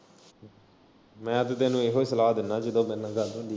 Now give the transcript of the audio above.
ਮੈਂ ਤੇ ਤੈਨੂੰ ਏਹੀ ਸਲਾਹ ਦਿੰਨਾ ਜਦੋਂ ਮੇਰੇ ਨਾਲ ਗੱਲ ਹੁੰਦੀ।